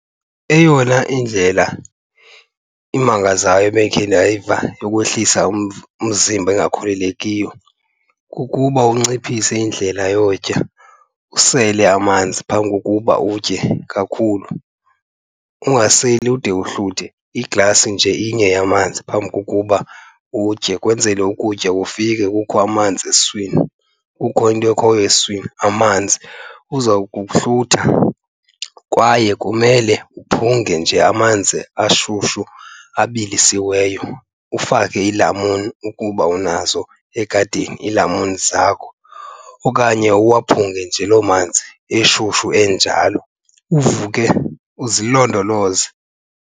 Eyona indlela imangazayo ebekhe ndayiva yokwehlisa umzimba engakholelekiyo kukuba unciphise indlela yokutya, usele amanzi phambi kokuba utye kakhulu. Ungaseli ude uhluthe, iglasi nje inye yamanzi phambi kokuba utye ukwenzele ukutya kufike kukho amanzi esiswini, kukho into ekhoyo esiswini amanzi uza kuhlutha. Kwaye kumele uphunge nje amanzi ashushu abilisiweyo, ufake iilamuni ukuba unazo egadini iilamuni zakho, okanye uwaphunge nje loo manzi eshushu enjalo. Uvuke uzilondoloze.